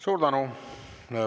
Suur tänu!